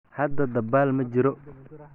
Hadda dabaal ma jiro?